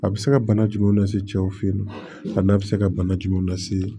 A bɛ se ka bana jumɛn lase cɛw fe ma a n'a bɛ se ka bana jumɛn lase